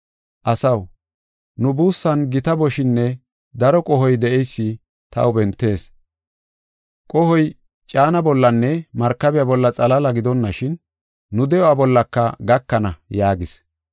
“Asaw, nu buussan gita boshinne daro qohoy de7eysi taw bentees; qohoy caana bollanne markabiya bolla xalaala gidonashin nu de7uwa bollaka gakana” yaagis.